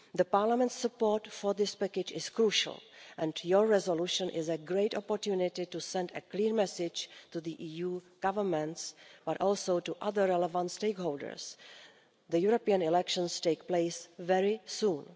Parliament's support for this package is crucial and your resolution is a great opportunity to send a clear message to the EU governments, but also to other relevant stakeholders. The European elections take place very